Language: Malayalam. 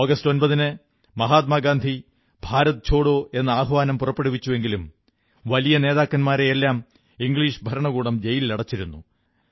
ആഗസ്റ്റ് 9ന് മഹാത്മാ ഗാന്ധി ഭാരത് ഛോഡോ എന്ന ആഹ്വാനം പുറപ്പെടുവിച്ചുവെങ്കിലും വലിയ നേതാക്കന്മാരെയെല്ലാം ഇംഗ്ലീഷ് ഭരണകൂടം ജയലിലടച്ചിരുന്നു